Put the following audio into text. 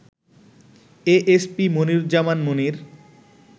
A S P Moniruzzaman Monir